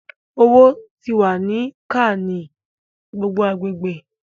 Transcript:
Owo ti wa ni ka ni gbogbo agbegbe